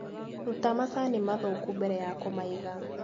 Ruta macani mathũku mbere ya kũmaiga.